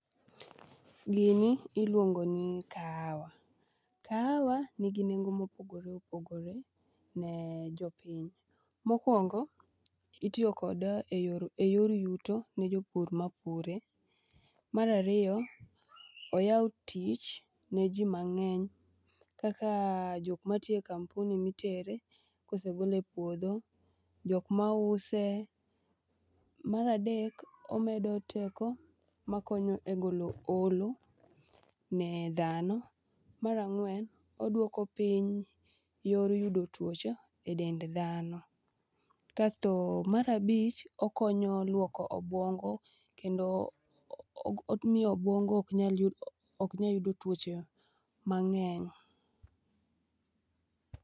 Gini iluongo ni kahawa, kahawa nigi nengo mopogore opogore ne jopiny. Mokwongo itiyo kode e yor yuto ne jopur mapure. Mar ariyo oyawo tich ne ji mang'eny kaka jokmatiyo e kampuni mitere kosegole e puodho, jokmause. Mar adek omedo teko makonyo e golo olo ne dhano. Mar ang'wen oduoko piny yor yudo tuoche e dend dhano. Kasto mar abich okonyo luoko obuongo kendo omiyo obuongo oknya yudo tuoche mang'eny.